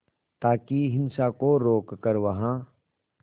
ताकि हिंसा को रोक कर वहां